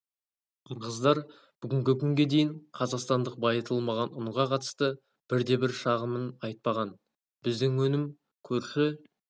қырғыздар бүгінгі күнге дейін қазақстандық байытылмаған ұнға қатысты бір де бір шағымын айтпаған біздің өнім көрші